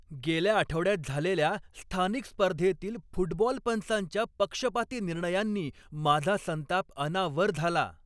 गेल्या आठवड्यात झालेल्या स्थानिक स्पर्धेतील फुटबॉल पंचांच्या पक्षपाती निर्णयांनी माझा संताप अनावर झाला.